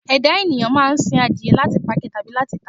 Ẹ̀dá ènìyàn máa ń sin adìyẹ láti pa jẹ tàbí láti tàá.